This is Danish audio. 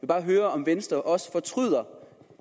bare høre om venstre også fortryder